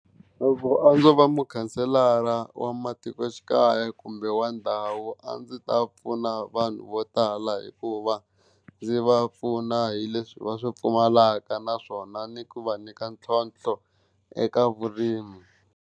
Loko a ndzo va mukhanselara wa matikoxikaya kumbe wa ndhawu a ndzi ta pfuna vanhu vo tala, hikuva ndzi va pfuna hi leswi va swi pfumalaka naswona ni ku va nyika ntlhontlho eka vurimi.